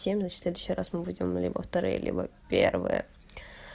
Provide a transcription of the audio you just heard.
семь в следующий раз мы будем ну либо вторые либо первые